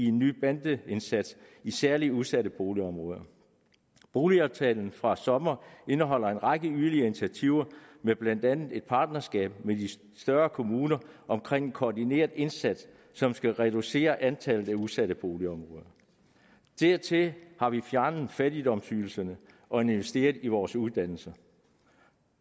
en ny bandeindsats i særligt udsatte boligområder boligaftalen fra i sommer indeholder en række yderligere initiativer med blandt andet et partnerskab med de større kommuner omkring en koordineret indsats som skal reducere antallet af udsatte boligområder dertil har vi fjernet fattigdomsydelserne og investeret i vores uddannelser